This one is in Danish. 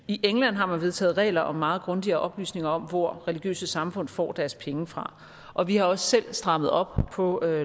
i england har man vedtaget regler om meget grundigere oplysning om hvor religiøse samfund får deres penge fra og vi har også selv strammet op på